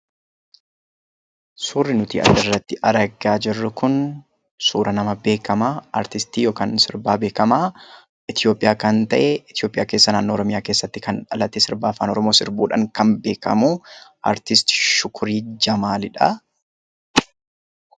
Suurri nuti as irratti argaa jirru kun suura nama beekamaa artistii Shukurii Jamaalidha. Innis artistii Itoophiyaa keessatti sirba Afaan Oromoo sirbuudhaan beekama.